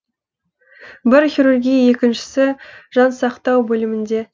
бірі хирургия екіншісі жансақтау бөлімінде